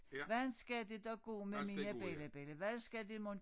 Hvordan skal det dog gå med mine bellabella hvad skal det mon